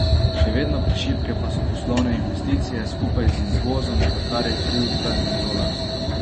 Še vedno prešibke pa so poslovne investicije, skupaj z izvozom, za kar je kriv trden dolar.